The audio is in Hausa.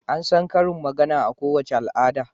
An san karin magana a kowace al'ada.